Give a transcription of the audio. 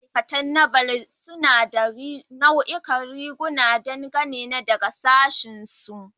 Ma'aikatan Naval suna da nau'ikan riguna, dangane da sashinsu.